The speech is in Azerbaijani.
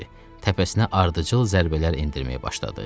təpəsinə ardıcıl zərbələr endirməyə başladı.